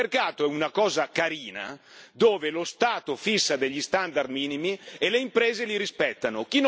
Il mercato è una cosa carina, dove lo Stato fissa degli standard minimi e le imprese li rispettano.